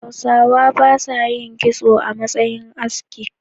Hausawa ba sa yi kitso a matsayin aski.